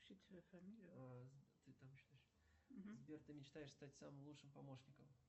сбер ты мечтаешь стать самым лучшим помощником